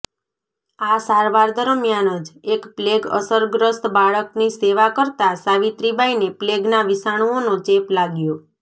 આ સારવાર દરમિયાન જ એક પ્લેગ અસરગ્રસ્ત બાળકની સેવા કરતા સાવીત્રીબાઈને પ્લેગના વિષાણુઓનો ચેપ લાગ્યો